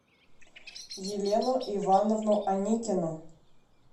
елену ивановну аникину